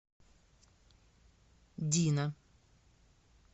дина